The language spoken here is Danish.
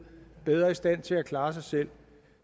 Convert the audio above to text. bedre i stand til at klare sig selv